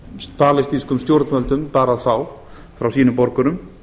sem palestínskum stjórnvöldum bar að fá frá sínum borgurum